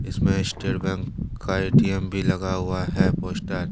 इसमें state bank का ATM भी लगा हुआ है पोस्टर ।